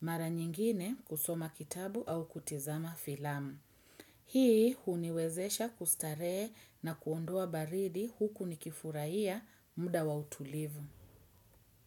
Mara nyingine kusoma kitabu au kutizama filamu. Hii uniwezesha kustarehe na kuondoa baridi huku nikifurahia muda wa utulivu.